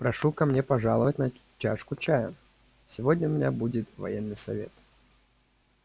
прошу ко мне пожаловать на чашку чаю сегодня у меня будет военный совет